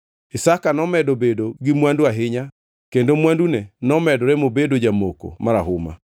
Isaka nomedo bedo gi mwandu ahinya kendo mwandune nomedore mobedo jamoko marahuma.